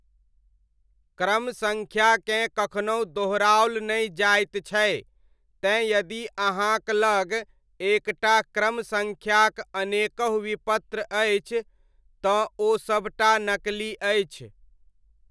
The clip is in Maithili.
क्रम सङ्ख्याकेँ कखनहु दोहराओल नहि जाइत छै, तैँ यदि अहाँक लग एक टा क्रम सङ्ख्याक अनेकहु विपत्र अछि, तँ ओ सब टा नकली अछि।